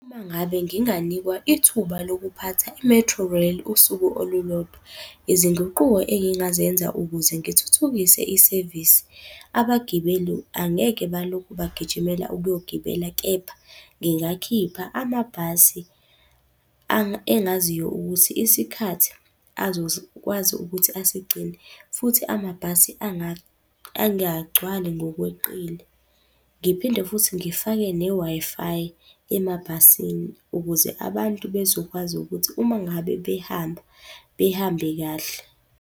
Uma ngabe nginganikwa ithuba lokuphatha i-Metrorail, usuku olulodwa. Izinguquko engingazenza ukuze ngithuthukise isevisi, abagibeli angeke balokhu bagijimela ukuyogibela, kepha ngingakhipha amabhasi engaziyo ukuthi isikhathi azokwazi ukuthi asigcine. Futhi amabhasi angagcwali ngokweqile. Ngiphinde futhi ngifake ne-Wi-Fi emabhasini, ukuze abantu bezokwazi ukuthi uma ngabe behamba, behambe kahle.